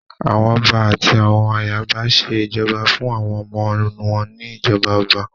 Àwọn ọba àti àwọn ayaba ṣé ìjọba fún àwọn ọmọ wọn ní ìjọba ọba